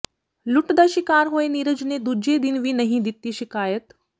ਲੁੱਟ ਦਾ ਸ਼ਿਕਾਰ ਹੋਏ ਨੀਰਜ ਨੇ ਦੂਜੇ ਦਿਨ ਵੀ ਨਹੀਂ ਦਿੱਤੀ ਸ਼ਿਕਾਇਤ